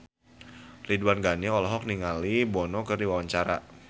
Ridwan Ghani olohok ningali Bono keur diwawancara